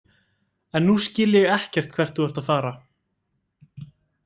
En nú skil ég ekkert hvert þú ert að fara.